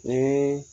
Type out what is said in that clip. Ni